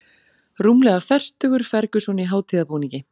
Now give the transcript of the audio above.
Rúmlega fertugur Ferguson í hátíðarbúningi